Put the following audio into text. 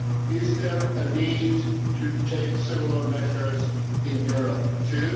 Is there a need to take similar measures in Europe too?